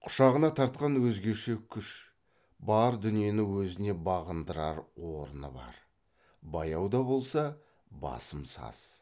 құшағына тартқан өзгеше күш бар дүниені өзіне бағындырар орны бар баяу да болса басым саз